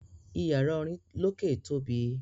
Iyàrá orin lókè tobi.